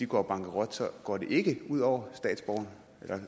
går bankerot går det ikke ud over